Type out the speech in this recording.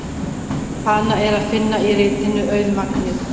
Hana er að finna í ritinu Auðmagnið.